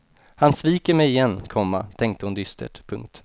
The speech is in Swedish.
Han sviker mig igen, komma tänkte hon dystert. punkt